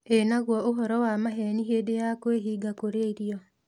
Ĩ naguo ũhoro wa maheeni hĩndĩ ya kwĩhinga kũrĩa irio?